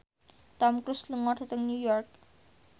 Tom Cruise lunga dhateng New York